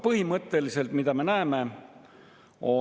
Paljudest selgitustest selle eelnõu menetluse kontekstis ma lihtsalt ei saa aru.